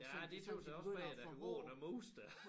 Ja det tøs jeg også mere der hvor er der mus der